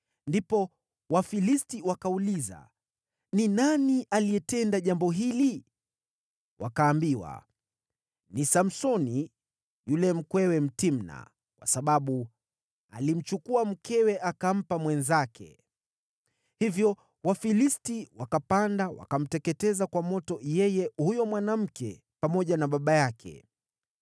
Ndipo Wafilisti wakauliza, “Ni nani aliyetenda jambo hili?” Wakaambiwa, “Ni Samsoni, yule mkwewe Mtimna, kwa sababu alimchukua mkewe akampa mwenzake.” Hivyo Wafilisti wakapanda wakamteketeza kwa moto yeye huyo mwanamke pamoja na baba yake.